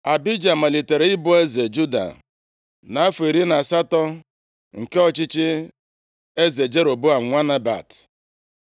Abija malitere ịbụ eze Juda, nʼafọ iri na asatọ nke ọchịchị eze Jeroboam nwa Nebat.